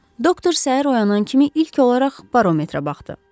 Doktor səhər oyanan kimi ilk olaraq barometrə baxdı.